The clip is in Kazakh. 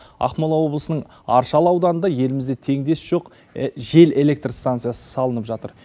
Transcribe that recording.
ақмола облысының аршалы ауданында елімізде теңдесі жоқ жел электр станциясы салынып жатыр